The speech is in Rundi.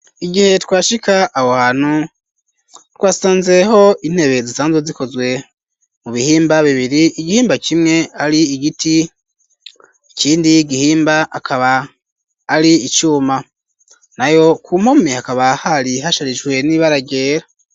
Igihe twashika aho hantu twasanzeho intebe zisanzwe zikozwe mu bihimba bibiri ,igihimba kimwe ari igiti ,ikindi gihimba akaba ari icuma, nayo ku mpome hakaba hari hasharijwe n'ibara ryera.